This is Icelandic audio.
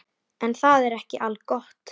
En það er ekki algott.